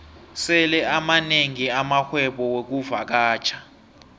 sele amanengi amarhwebo wexkuvakatjha